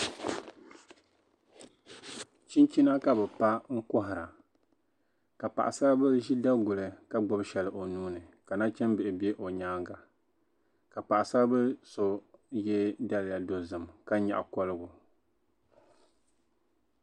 Chinchina ka bɛ pa n kɔhira ka paɣasaribili ʒi daguli ka gbubi shɛli o nuuni ka nachimbila bɛ o nyaaŋa paɣasaribili so ye daliya dozim ka nyaɣi kɔligu.